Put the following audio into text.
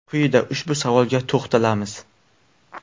Quyida ushbu savolga to‘xtalamiz.